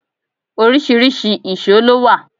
Oríṣiríṣi ìṣó ló wà.